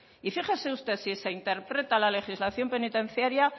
y fíjese usted si se interpreta la legislación penitenciaria